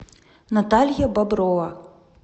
наталья боброва